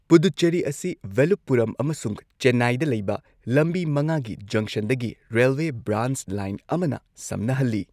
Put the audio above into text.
ꯄꯨꯗꯨꯆꯦꯔꯤ ꯑꯁꯤ ꯚꯦꯂꯨꯞꯄꯨꯔꯝ ꯑꯃꯁꯨꯡ ꯆꯦꯟꯅꯥꯏꯗ ꯂꯩꯕ ꯂꯝꯕꯤ ꯃꯉꯥꯒꯤ ꯖꯪꯁꯟꯗꯒꯤ ꯔꯦꯜꯋꯦ ꯕ꯭ꯔꯥꯟꯆ ꯂꯥꯏꯟ ꯑꯃꯅ ꯁꯝꯅꯍꯜꯂꯤ꯫